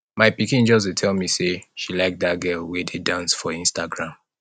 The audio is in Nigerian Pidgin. my pikin just dey tell me say she like dat girl wey dey dance for instagram